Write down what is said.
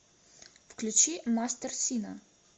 включи мастер сина